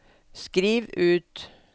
skriv ut